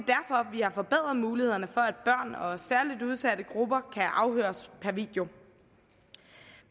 vi har forbedret mulighederne for at børn og særligt udsatte grupper kan afhøres per video